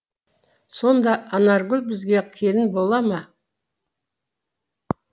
сонда анаргүл бізге келін бола ма